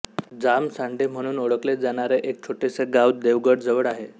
जामसांडे म्हणून ओळखले जाणारे एक छोटेसे गाव देवगडजवळ आहे